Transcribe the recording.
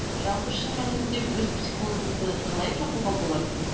жалпы шын мәнінде өз психологыңды қалай табуға болады